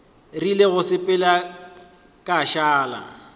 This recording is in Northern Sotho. rile go sepela ka šala